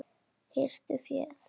Hirtu féð!